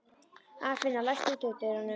Arnfinna, læstu útidyrunum.